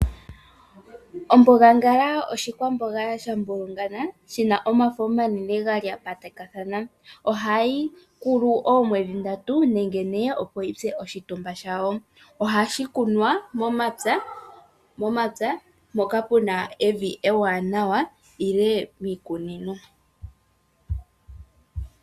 Ombogangala oshi kwamboga sha mbulungana, shina omafo omanene ga lya patakana. Ohayi koko uule woo mwedhi ndatu nenge ne, opo yitse oshitumba shawo. Ohashi kunwa mo mapya, mpoka puna evi ewaanawa nenge miikunino.